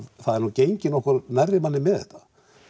það er nú gengið nokkuð nærri manni með þetta